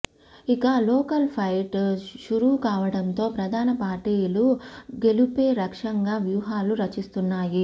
ఇక local fight షురూ కావడంతో ప్రధాన పార్టీలు గెలుపే లక్ష్యంగా వ్యూహాలు రచిస్తున్నాయి